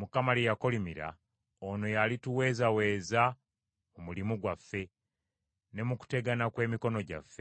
Mukama lye yakolimira, ono yalituweezaweeza mu mulimu gwaffe, ne mu kutegana kw’emikono gyaffe.”